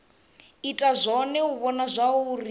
ita zwone u vhona zwauri